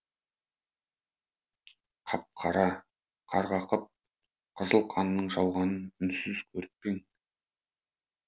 қап қара қарғақып қызыл қанның жауғанын үнсіз көріп пең